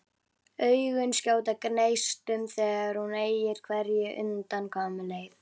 Augun skjóta gneistum þegar hún eygir hvergi undankomuleið.